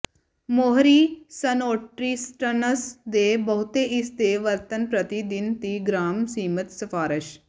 ਮੋਹਰੀ ਸਨਉਟਰੀਸਸਨਸਟਸ ਦੇ ਬਹੁਤੇ ਇਸ ਦੇ ਵਰਤਣ ਪ੍ਰਤੀ ਦਿਨ ਤੀਹ ਗ੍ਰਾਮ ਸੀਮਿਤ ਸਿਫਾਰਸ਼